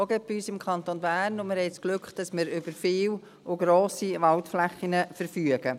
Und wir haben das Glück, dass wir über viele und grosse Waldflächen verfügen.